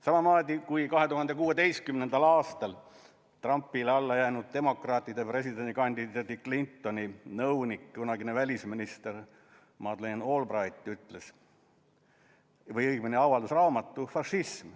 Samamoodi, kui 2016. aastal Trumpile alla jäänud demokraatide presidendikandidaadi Clintoni nõunik, kunagine välisminister Madeleine Albright avaldas raamatu "Fašism.